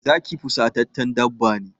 Zaki fusataccen dabba ne.